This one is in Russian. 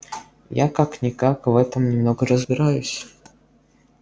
я как-никак в этом немного разбираюсь